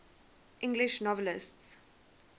english novelists